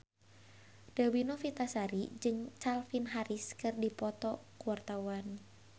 Dewi Novitasari jeung Calvin Harris keur dipoto ku wartawan